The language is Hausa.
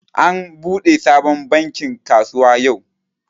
An buɗe sabon bankin kasuwa yau